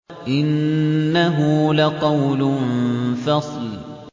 إِنَّهُ لَقَوْلٌ فَصْلٌ